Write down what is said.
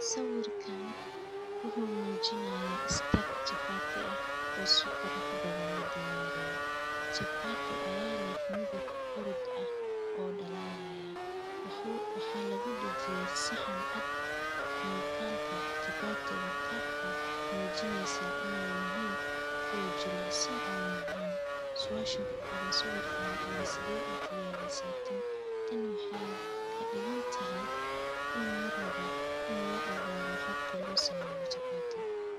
Sawirkan wuxuu mujinayaa istaag chapati ah, o si qurux badan ladiyariyee, chapati aya leh miidab hurud ah o dalalayaa, waxaa lagu dajiyee saxan caad muqalka chapati ga kamujinayaa ine yihiin miid jilicsan o macan, suasha kuqoran sawirkan wexee tahay, waa sideed u diyarisaa tan. tan wexey kadigantahay in larabo in laogado habka losameyo chapati ga.